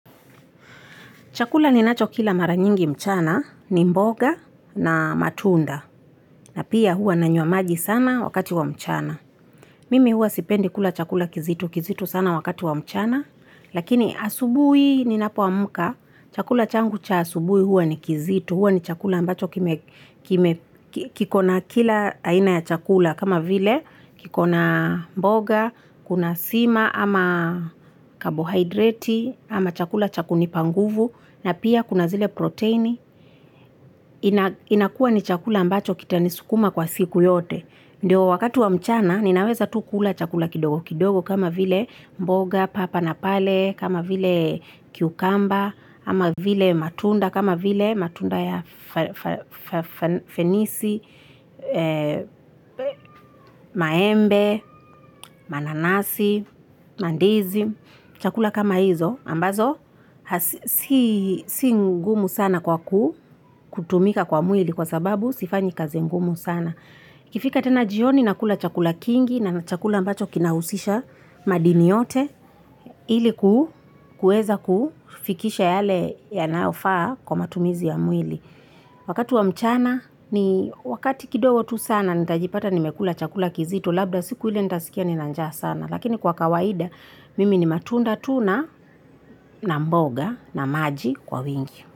Chakula ninacho kila mara nyingi mchana ni mboga na matunda na pia huwa nanywa maji sana wakati wa mchana. Mimi huwa sipendi kula chakula kizito kizito sana wakati wa mchana lakini asubuhi ninapoamka chakula changu cha asubuhi hua ni kizito huwa ni chakula ambacho kiko na kila aina ya chakula kama vile kikona mboga kuna sima ama carbohydrate ama chakula cha kunipa nguvu na pia kuna zile protini, inakua ni chakula ambacho kitanisukuma kwa siku yote. Ndo wakati wa mchana, ninaweza tu kula chakula kidogo kidogo kama vile mboga, papa na pale, kama vile cucumber, ama vile matunda kama vile matunda ya fenisi, maembe, mananasi, mandizi, chakula kama hizo ambazo si ngumu sana kwa kutumika kwa mwili kwa sababu sifanyi kazi ngumu sana. Ikifika tena jioni nakula chakula kingi na chakula ambacho kinahusisha madini yote iliku kuweza kufikisha yale yanayofaa kwa matumizi ya mwili. Wakati wa mchana ni wakati kidogo tu sana nitajipata nimekula chakula kizito labda siku ile nitasikia nina njaa sana. Lakini kwa kawaida, mimi ni matunda tu na mboga na maji kwa wingi.